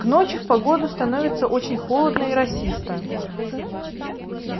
к ночи в погоду становится очень холодно и росисто